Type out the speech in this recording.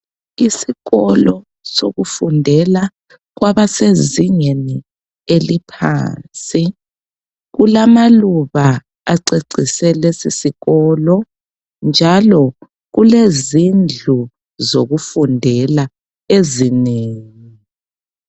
Isikolo sokufundela kwabasezingeni eliphansi. Kulamaluba acecise lesisikolo njalo kulezindlu sokufundela ezinengi.